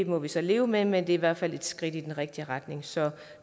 må vi så leve med men det er i hvert fald et skridt i den rigtige retning så